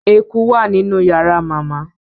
ẹkú wá nínú yàrá màmá